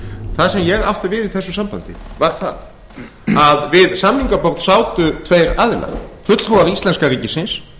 það sem ég átti við í þessu sambandi var það að við samningaborð sátu þeir aðilar fulltrúar íslenska ríkisins